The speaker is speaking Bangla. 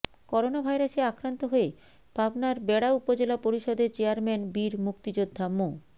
করোনাভাইরাসে আক্রান্ত হয়ে পাবনার বেড়া উপজেলা পরিষদের চেয়ারম্যান বীর মুক্তিযোদ্ধা মো